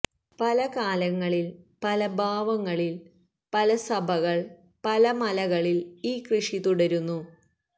പല കാലങ്ങളിൽ പല ഭാവങ്ങളിൽ പല സഭകൾ പല മലകളിൽ ഈ കൃഷി തുടരുന്നു